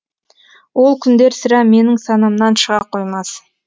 ол күндер сірә менің санамнан шыға қоймас